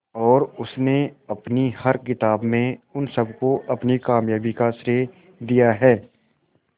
और उसने अपनी हर किताब में उन सबको अपनी कामयाबी का श्रेय दिया है